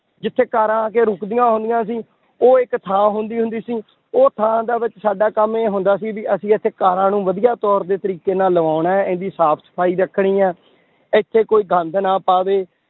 ਜਿੱਥੇ ਕਾਰਾਂ ਆ ਕੇ ਰੁਕਦੀਆਂ ਹੁੰਦੀਆਂ ਸੀ, ਉਹ ਇੱਕ ਥਾਂ ਹੁੰਦੀ ਹੁੰਦੀ ਸੀ, ਉਹ ਥਾਂ ਦੇ ਵਿੱਚ ਸਾਡਾ ਕੰਮ ਇਹ ਹੁੰਦਾ ਸੀ ਵੀ ਅਸੀਂ ਇੱਥੇ ਕਾਰਾਂ ਨੂੰ ਵਧੀਆ ਤੌਰ ਦੇ ਤਰੀਕੇ ਨਾਲ ਲਵਾਉਣਾ ਹੈ, ਇਹਦੀ ਸਾਫ਼ ਸਫ਼ਾਈ ਰੱਖਣੀ ਹੈ ਇੱਥੇ ਕੋਈ ਗੰਦ ਨਾ ਪਾਵੇ